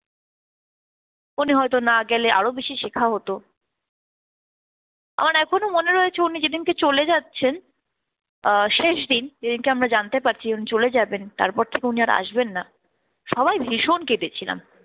উনি হয়তো না গেলে আরো বেশি শেখা হতো। আমার এখনো মনে রয়েছে উনি যেদিনকে চলে যাচ্ছেন আহ শেষ দিন যেদিনকে আমরা জানতে পারছি উনি চলে যাবেন, তারপর থেকে উনি আর আসবেন না, সবাই ভীষণ কেঁদেছিলাম।